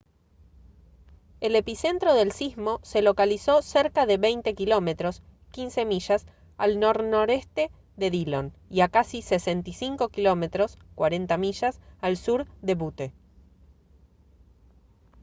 el epicentro del sismo se localizó cerca de 20 km 15 mi al nornoreste de dillon y a casi 65 km 40 mi al sur de butte